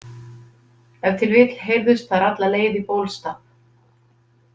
Ef til vill heyrðust þær alla leið í Bólstað.